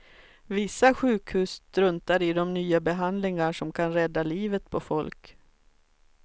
Vissa sjukhus struntar i de nya behandlingar som kan rädda livet på folk.